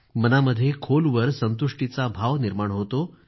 मनामध्ये खोलवर संतुष्टीचा भाव निर्माण होतो